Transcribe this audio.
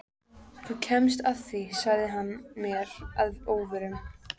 Þú kemst að því sagði hann mér að óvörum.